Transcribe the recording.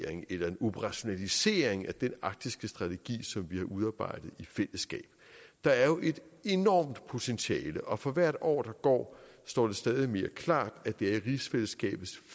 eller operationalisering af den arktiske strategi som vi har udarbejdet i fællesskab der er jo et enormt potentiale og for hvert år der går står det stadig mere klart at det er i rigsfællesskabets